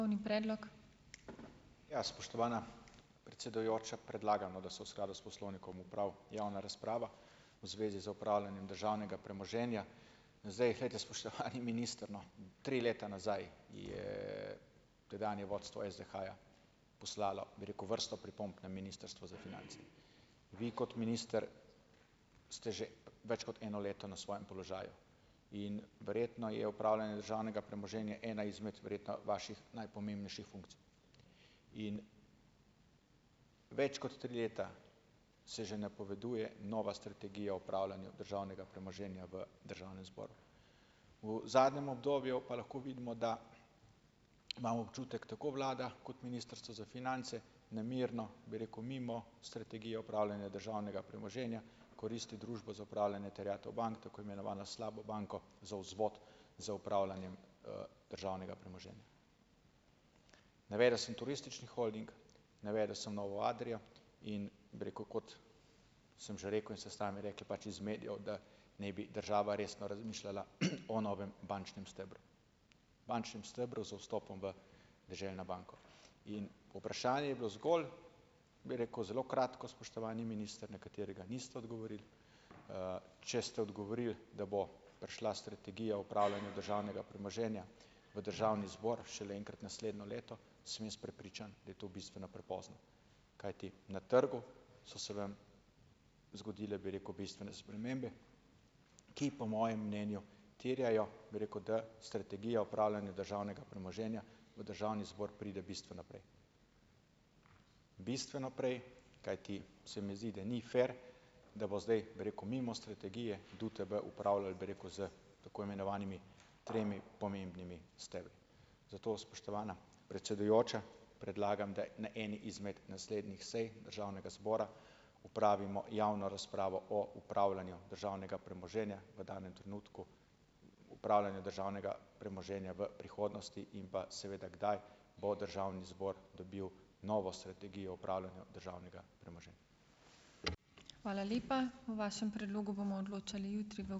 Ja, spoštovana predsedujoča, predlagam, no, da se v skladu s poslovnikom opravi javna razprava v zvezi z upravljanjem državnega premoženja. Zdaj, glejte spoštovani minister, no, tri leta nazaj je tedanje vodstvo SDH-ja poslalo, bi rekel, vrsto pripomb na Ministrstvo za finance. Vi, kot minister, ste že več kot eno leto na svojem položaju in verjetno je upravljanje državnega premoženja ena izmed, verjetno, vaših najpomembnejših funkcij in, več kot tri leta se že napoveduje nova strategija o upravljanju državnega premoženja v državnem zboru. v zadnjem obdobju pa lahko vidimo, da, imam občutek, tako vlada kot Ministrstvo za finance, nemirno, bi rekel, mimo Strategije upravljanja državnega premoženja koristi Družbo za upravljanje terjatev bank, tako imenovana slaba banka, za vzvod z upravljanjem, državnega premoženja. Navedel sem turistični holding, navedel sem novo Adrio in, bi rekel, kot sem že rekel, in ste sami rekli, pač iz medijev, da naj bi država resno razmišljala, o novem bančnem stebru, bančnem stebru z vstopom v Deželno banko, in vprašanje je bilo zgolj, bi rekel, zelo kratko, spoštovani minister, na katerega niste odgovorili. Če ste odgovorili, da bo prišla Strategija upravljanja državnega premoženja v državni zbor šele enkrat naslednje leto, sem jaz prepričan, da je to bistveno prepozno, kajti na trgu so se vam zgodile, bi rekel, bistvene spremembe, ki po mojem mnenju terjajo, bi rekel, da Strategija upravljanja državnega premoženja v državni zbor pride bistveno prej, bistveno prej, kajti se mi zdi, da ni "fer", da bo zdaj, bi rekel, mimo strategije DUTB upravljal, bi rekel, s tako imenovanimi tremi pomembnimi stebri. Zato, spoštovana predsedujoča, predlagam, da na eni izmed naslednjih sej državnega zbora, opravimo javno razpravo o upravljanju državnega premoženja v danem trenutku upravljanja državnega premoženja v prihodnosti in pa seveda, kdaj bo državni zbor dobil novo strategijo upravljanja državnega premoženja.